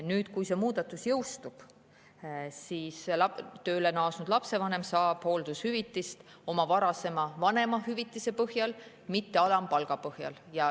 Nüüd, kui see muudatus jõustub, siis tööle naasnud lapsevanem saab hooldushüvitist oma varasema vanemahüvitise põhjal, mitte alampalga põhjal.